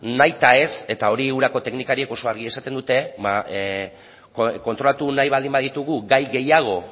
nahita ez eta hori urako teknikariek oso argi esaten dute kontrolatu nahi baldin baditugu gai gehiago